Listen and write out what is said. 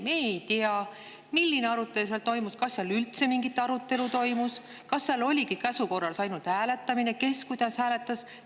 Aga me ei tea, milline arutelu toimus või kas seal üldse mingi arutelu toimus, kas seal oli ainult käsu korras hääletamine ja kes kuidas hääletas.